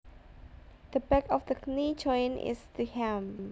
The back of the knee joint is the ham